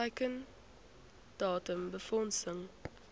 teiken datum befondsing